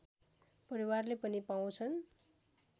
परिवारले पनि पाउँछन्